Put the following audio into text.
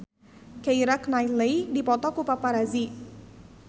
Keira Knightley dipoto ku paparazi